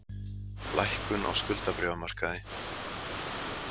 Lækkun á skuldabréfamarkaði